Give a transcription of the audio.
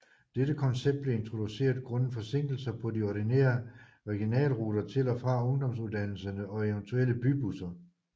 Dette koncept blev introduceret grundet forsinkelser på de ordinere regionaleruter til og fra ungdomsuddannelserne og eventuelle bybusser